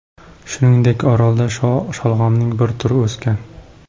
Shuningdek, orolda sholg‘omning bir turi o‘sgan.